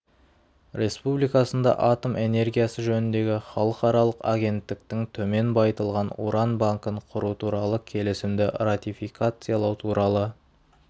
республикасында атом энергиясы жөніндегі халықаралық агенттіктің төмен байытылған уран банкін құру туралы келісімді ратификациялау туралы